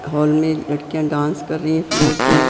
hall में लड़कियां dance कर रही है फ्लोट में--